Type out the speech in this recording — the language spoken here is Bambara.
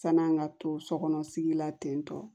San'an ka to sokɔnɔ sigi la ten tɔ